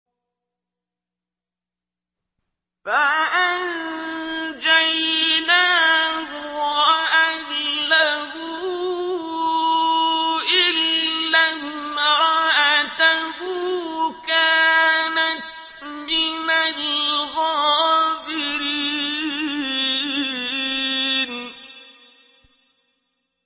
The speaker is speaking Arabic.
فَأَنجَيْنَاهُ وَأَهْلَهُ إِلَّا امْرَأَتَهُ كَانَتْ مِنَ الْغَابِرِينَ